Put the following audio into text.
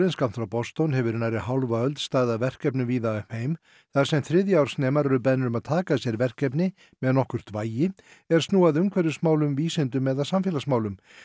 skammt frá Boston hefur í nærri hálfa öld staðið að verkefnum víða um heim þar sem þriðja árs nemar eru beðnir um að taka að sér verkefni með nokkurt vægi er snúa að umhverfismálum vísindum eða samfélagsmálum